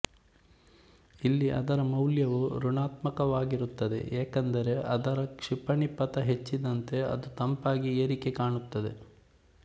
ಇಲ್ಲಿ ಅದರ ಮೌಲ್ಯವು ಋಣಾತ್ಮಕವಾಗಿರುತ್ತದೆ ಯಾಕೆಂದರೆ ಅದರ ಕ್ಷಿಪಣಿ ಪಥ ಹೆಚ್ಚಿದಂತೆ ಅದು ತಂಪಾಗಿ ಏರಿಕೆ ಕಾಣುತ್ತದೆ